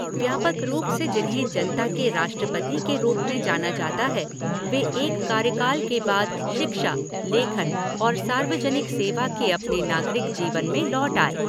व्यापक रूप से जिन्हें जनता के राष्ट्रपति के रूप में जाना जाता है, वे एक कार्यकाल के बाद शिक्षा, लेखन और सार्वजनिक सेवा के अपने नागरिक जीवन में लौट आए।